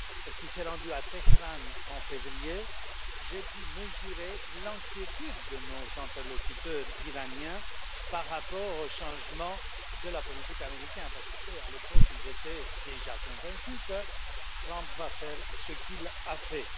qui s'est rendue à Téhéran en février, j'ai pu mesurer l'inquiétude de nos interlocuteurs iraniens par rapport au changement de la politique américaine, parce que eux, à l'époque, étaient déjà convaincus que Trump allait faire ce qu'il a fait.